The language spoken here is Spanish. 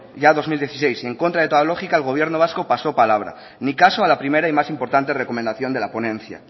ya en dos mil dieciséis en contra de toda lógica el gobierno vasco pasó palabra ni caso a la primera y más importante recomendación de la ponencia